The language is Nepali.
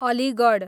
अलिगढ